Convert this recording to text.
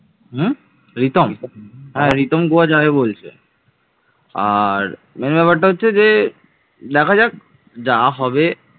হম রিতম, রিতম গোয়া যাবে বলছে আর main ব্যাপারটা হচ্ছে যে দেখা যাক যা হবে